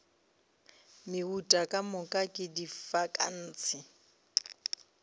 meuta ka moka ke difankase